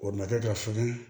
O madufoi